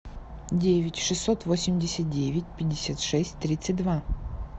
девять шестьсот восемьдесят девять пятьдесят шесть тридцать два